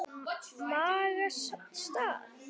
Maga. stað?